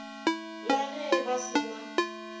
la ge ba se na